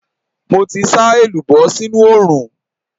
Mo ti sá èlùbọ́ sínú oòrùn.